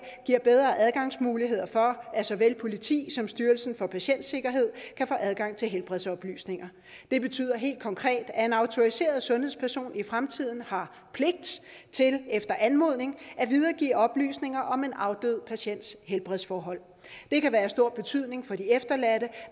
giver bedre adgangsmuligheder for at såvel politi som styrelsen for patientsikkerhed kan få adgang til helbredsoplysninger det betyder helt konkret at en autoriseret sundhedsperson i fremtiden har pligt til efter anmodning at videregive oplysninger om en afdød patients helbredsforhold det kan være af stor betydning for de efterladte